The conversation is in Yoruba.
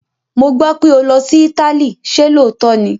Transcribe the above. Mo gbọ́ pé ó ti lọ sí Italy, ṣé lóòótọ́ ni?